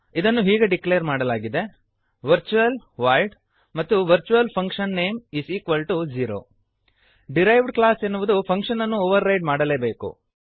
ಇದನ್ನು ಹೀಗೆ ಡಿಕ್ಲೇರ್ ಮಾಡಲಾಗಿದೆ ವರ್ಚುಯಲ್ ವಾಯ್ಡ್ ಮತ್ತು virtualfunname0 ಡಿರೈವ್ಡ್ ಕ್ಲಾಸ್ ಎನ್ನುವುದು ಫಂಕ್ಶನ್ ಅನ್ನು ಓವರ್ ರೈಡ್ ಮಾಡಲೇಬೇಕು